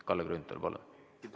Kalle Grünthal, palun!